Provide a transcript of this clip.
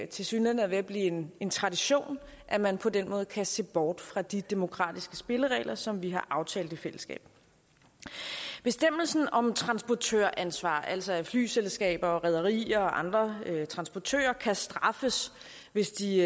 tilsyneladende er ved at blive en tradition at man på den måde kan se bort fra de demokratiske spilleregler som vi har aftalt i fællesskab bestemmelsen om transportøransvar altså at flyselskaber rederier og andre transportører kan straffes hvis de